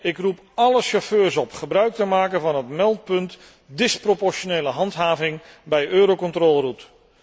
Ik roep alle chauffeurs op gebruik te maken van het meldpunt disproportionele handhaving bij Euro Contrôle Route.